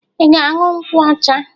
Ị ga-aṅụ nkwụ ọcha?